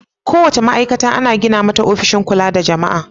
Kowace ma'aikata ana gina mata ofishin kula da jama'a.